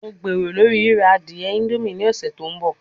Mo gbero lori rira adie indomie ni ọsẹ to nbọ